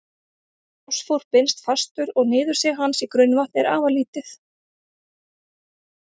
Fosfór binst fastur og niðursig hans í grunnvatn er afar lítið.